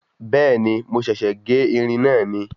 Bẹ́ẹ̀ni mo ṣèsè gé irin mi